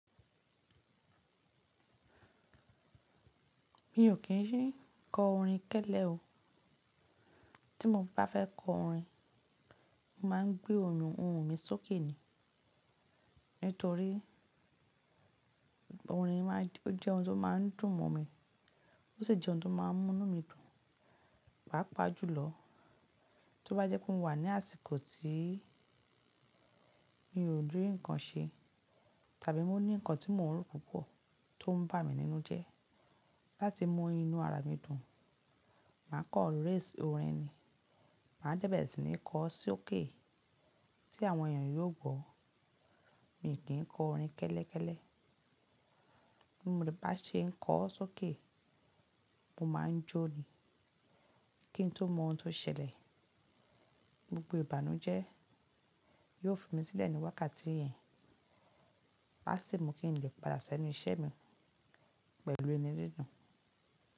Mi ò kín ṣí kọ orin kẹ́lẹ́ o. Tí mo bá fẹ́ kọ orin, mo máa ń gbé ohùn ohùn mi sókè ni. Nítorí orin máa ń jẹ́ ohun tó máa ń dùn mọ́ mi, ó sì jẹ́ ohun tó máa ń mún inu mí dùn, pàápàá jùlọ tó bá jẹ́ pé mo wà ní àsìkò tí mi o ri ǹkan ṣe tàbí mo ní ǹkan tí mo n rò púpọ̀ tó ń bà mí nínú jẹ́. Láti mú inú ara mi dùn, màá kọ race orin ni, màá dẹ̀ bẹe sí ní kọ sókè tí àwọn èèyàn yóò gbọ́. Mi ò kín kọ orin kẹ́lẹ́kẹ́lẹ́. Bí mo bá ṣe ń kọ sókè, mo máa ń jó ni kí n tó mọ ohun tó ṣẹlẹ̀. Gbogbo ìbànújẹ́ yóò fi mí sílẹ̀ ní wákàtí yẹn, pàṣẹ mo kí n lè padà sẹ́nu iṣẹ́ mi pẹ̀lú inu didun.